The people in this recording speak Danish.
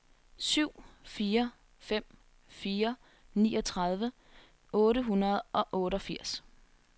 syv fire fem fire niogtredive otte hundrede og otteogfirs